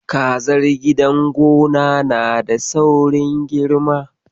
Kazar gidan gona na da saurin girma.